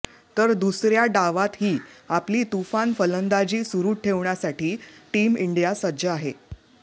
तर दुसऱ्या डावातही आपली तुफान फलंदाजी सुरू ठेवण्यासाठी टीम इंडिया सज्ज आहे